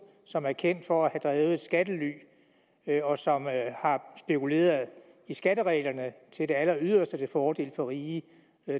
som er kendt for at have drevet et skattely og som har spekuleret i skattereglerne til det alleryderste til fordel for rige